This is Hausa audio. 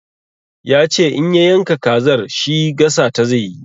Ya ce in ya yanka kazar shi gasa ta zai yi.